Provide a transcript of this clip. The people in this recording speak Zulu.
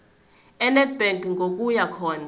enedbank ngokuya khona